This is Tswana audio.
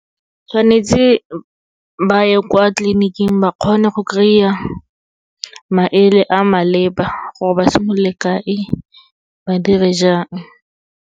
Tshwanetse ba ye kwa tleliniking ba kgone go kry-a, maele a maleba gore ba simolole kae, ba dire jang.